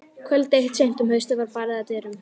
Kvöld eitt seint um haustið var barið að dyrum.